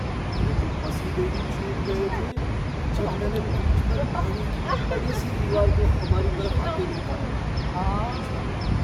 मेरे तो पसीने ही छूट गए थे जब मैंने बीच पर पानी की बड़ी सी दीवार को हमारे तरफ आते देखा। दूसरा व्यक्ति